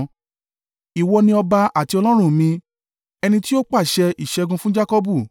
Ìwọ ni ọba àti Ọlọ́run mi, ẹni tí ó pàṣẹ ìṣẹ́gun fún Jakọbu.